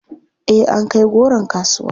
Eh an kai goron kasuwa.